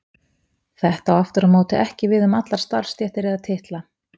Þetta á aftur á móti ekki við um allar starfstéttir eða titla.